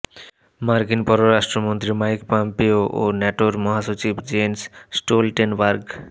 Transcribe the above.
মার্কিন পররাষ্ট্রমন্ত্রী Mike Pompeo ও ন্যাটোর মহাসচিব জেন্স স্টোলটেনবার্গ